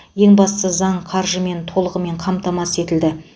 ең бастысы заң қаржымен толығымен қамтамасыз етілді